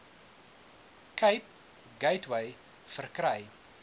cape gateway verkry